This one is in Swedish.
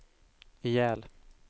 ihjäl